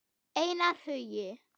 Einar Hugi.